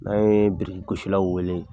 N'a ye biriki gosiaw wele